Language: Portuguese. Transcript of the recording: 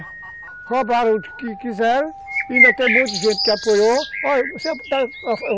Roubaram o que que quiseram, ainda tem muita gente que apoiou.